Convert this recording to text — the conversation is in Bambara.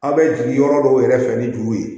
A' bɛ jigin yɔrɔ dɔw yɛrɛ fɛ ni dugu ye